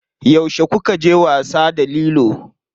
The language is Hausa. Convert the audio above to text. Yauce kukaje wasa da lilo?